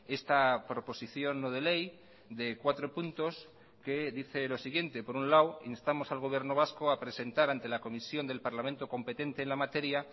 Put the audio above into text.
esta proposición no de ley de cuatro puntos que dice lo siguiente por un lado instamos al gobierno vasco a presentar ante la comisión del parlamento competente en la materia